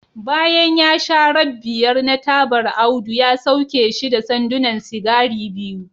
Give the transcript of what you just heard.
bayan ya sha rab biyar na tabar Audu ya sauke shi da sandunan sigari biyu